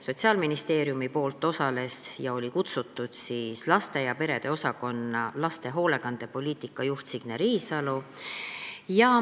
Sotsiaalministeeriumi poolt osales laste ja perede osakonna laste hoolekandepoliitika juht Signe Riisalo.